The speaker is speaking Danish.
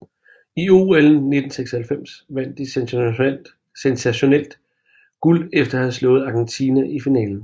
I OL 1996 vandt de sensationelt guld efter at have slået Argentina i finalen